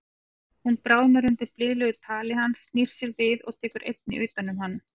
Hún bráðnar undan blíðlegu tali hans, snýr sér við og tekur einnig utan um hann.